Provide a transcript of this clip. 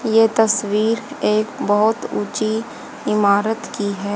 ये तस्वीर एक बहोत ऊँची इमारत की हैं।